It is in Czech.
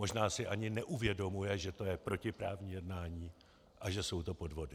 Možná si ani neuvědomuje, že to je protiprávní jednání a že to jsou podvody.